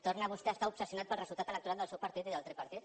torna vostè a estar obsessionat pel resultat electoral del seu partit i del tripartit